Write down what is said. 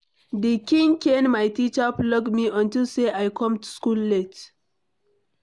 The kin cane my teacher flog me unto say I come school late.